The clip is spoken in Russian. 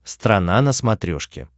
страна на смотрешке